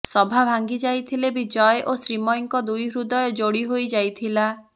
ସଭା ଭାଙ୍ଗି ଯାଇଥିଲେ ବି ଜୟ ଓ ଶ୍ରୀମୟୀଙ୍କ ଦୁଇ ହୃଦୟ ଯୋଡି ହୋଇ ଯାଇଥିଲା